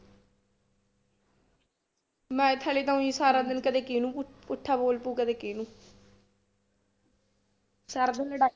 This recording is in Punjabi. Math ਵਾਲੇ ਤਾਂ ਊਈ ਸਾਰਾ ਦਿਨ ਕਦੇ ਕਿਹਨੂੰ ਪੁੱਠਾ ਬੋਲ ਪਊ ਕਦੇ ਕਿਹਨੂੰ ਸਾਰਾ ਦਿਨ ਲੜਾ